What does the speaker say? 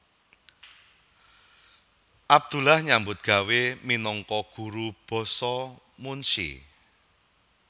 Abdullah nyambut gawé minangka guru basa munsyi